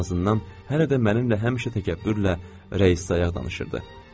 Ən azından hələ də mənimlə həmişə təkəbbürlə rəis sayaq danışırdı.